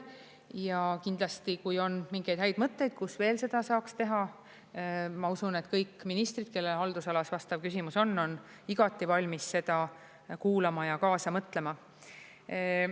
Ja kindlasti, kui on mingeid häid mõtteid, kus veel seda saaks teha, ma usun, et kõik ministrid, kelle haldusalas vastav küsimus on, on igati valmis seda kuulama ja kaasa mõtlema.